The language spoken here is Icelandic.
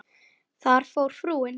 Þar fór frúin.